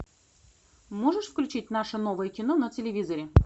можешь включить наше новое кино на телевизоре